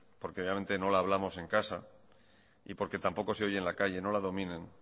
porque obviamente no la hablamos en casa y porque tampoco se oye en la calle no la dominen